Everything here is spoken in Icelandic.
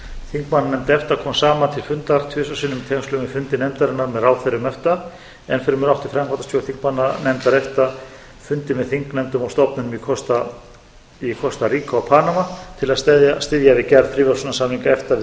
þingmannanefnd efta kom saman til fundar tvisvar sinnum í tengslum við fundi nefndarinnar með ráðherrum efta enn fremur átti framkvæmdastjórn þingmannanefndar efta fundi með þingnefndum og stofnunum í kostaríka og panama til að styðja við gerð fríverslunarsamninga efta